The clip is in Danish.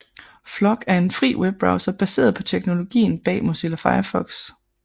Flock er en fri webbrowser baseret på teknologien bag Mozilla Firefox